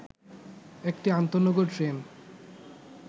একটি আন্তঃনগর ট্রেন